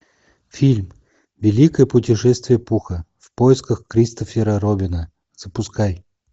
фильм великое путешествие пуха в поисках кристофера робина запускай